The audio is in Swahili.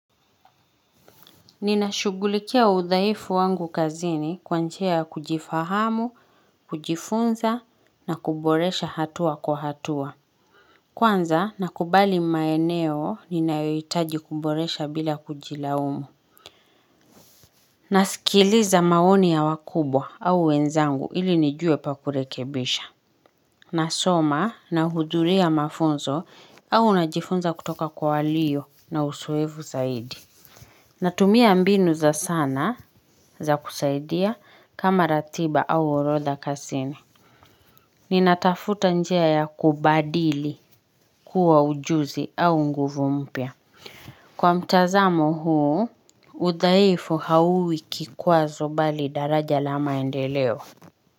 Ninashughulikia udhaifu wangu kazini kwanjia ya kujifahamu, kujifunza na kuboresha hatua kwa hatua. Kwanza nakubali maeneo ninayoitaji kuboresha bila kujilaumu. Nasikiliza maoni ya wakubwa au wenzangu ili nijue pakurekebisha. Nasoma na hudhuria mafunzo au najifunza kutoka kwa waliyo na uzoefu zaidi. Natumia mbinu za sana za kusaidia kama ratiba au orodha kazini. Ninatafuta njia ya kubadili kuwa ujuzi au nguvu mpya. Kwa mtazamo huu, udhaifu hauwi kikwazo bali daraja lamaendeleo.